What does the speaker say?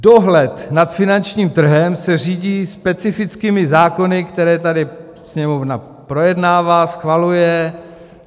Dohled nad finančním trhem se řídí specifickými zákony, které tady Sněmovna projednává, schvaluje.